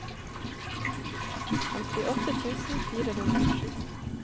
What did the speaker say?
femtiåtte tusen fire hundre og sju